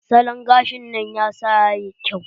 Salon gashin nan ya sa yayi kyau.